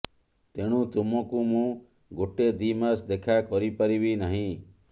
ତେଣୁ ତୁମକୁ ମୁଁ ଗୋଟେ ଦି ମାସ ଦେଖା କରିପାରିବି ନାହିଁ